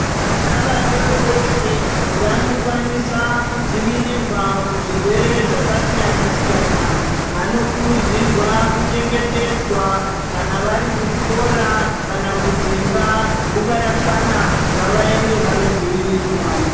Vana vadodori vanokwanisa kudzivirirwa kuzvirwere zvakasiyana-siyana. Vanokurudzirwa kuchengetedzwa kana vari kuchikora kana kudzimba nguva yakwana ngavaende vanodzivirirwa.